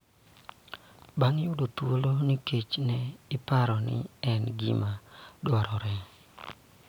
Bang� yudo thuolo nikech ne ipare ni en gima dwarore